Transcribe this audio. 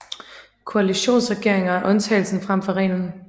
Koalitionsregeringer er undtagelsen frem for reglen